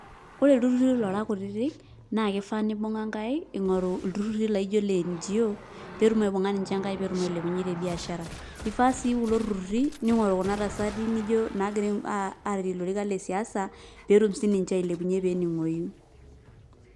Ore ilturrurri lora kutitik, na kifaa nibung'a nkaik, ing'oru ilturrurri laijo le NGO, petum aibung'a ninche nkaik petum ailepunye tebiashara. Ifaa si kulo turrurri, ning'oru kuna tasati nijo nagira airere lorikan lesiasa, petum sininche ailepunye pening'oyu.